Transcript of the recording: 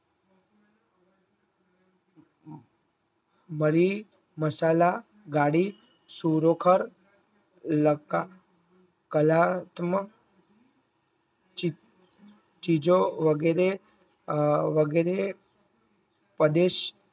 મારી મસાલા ગાડી સુરેખ કલાત્મક ચીજો વગેરે